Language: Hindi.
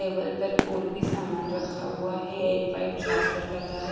टेबल पर ओर भी सामान रखा हुआ है एक वाइट चार्जर लगा है।